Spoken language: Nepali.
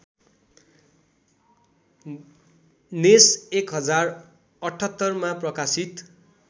नेस १०७८मा प्रकाशित